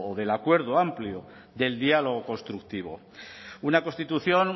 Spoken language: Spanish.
del acuerdo amplio del diálogo constructivo una constitución